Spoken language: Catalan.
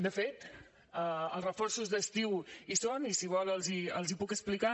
de fet els reforços d’estiu hi són i si vol els hi puc explicar